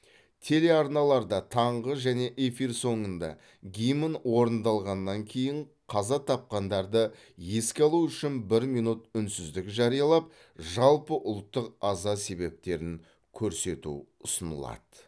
телеарналарда таңғы және эфир соңында гимн орындалғаннан кейін қаза тапқандарды еске алу үшін бір минут үнсіздік жариялап жалпыұлттық аза себептерін көрсету ұсынылады